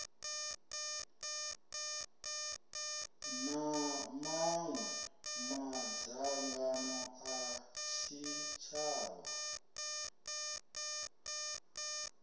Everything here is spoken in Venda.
na maṅwe madzangano a tshitshavha